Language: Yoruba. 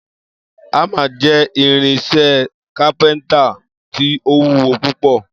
Ámà jé̩ irin-is̩é̩ is̩é̩ kápé̩ńtà tí ó wúwo púpò